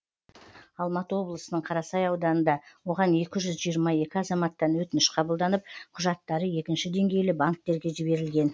алматы облысының қарасай ауданында оған екі жүз жиырма екі азаматтан өтініш қабылданып құжаттары екінші деңгейлі банктерге жіберілген